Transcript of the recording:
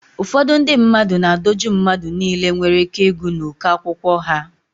Ụfọdụ ndị mmadụ na-adọju mmadụ niile nwere ị́ké ịgụ n'uko akwụkwọ ha.